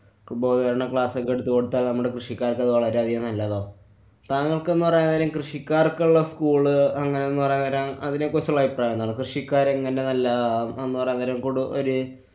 ബോധവല്‍ക്കരണ class കള്‍ എടുത്തുകൊടുത്താല്‍ നമ്മടെ കൃഷിക്കാര്‍ക്കത് വളരെയധികം നല്ലതാവും. താങ്കള്‍ക്കെന്നു പറയാന്‍ നേരം കൃഷിക്കാര്‍ക്കുള്ള school അങ്ങനെന്നു പറയാന്‍ നേരം അതിനെക്കുറിച്ചുള്ള അഭിപ്രായം എന്താണ്? കൃഷിക്കാരെങ്ങനെ നല്ലതാവും? എന്നുപറയാന്‍ നേരം കുടു~ ഒര്~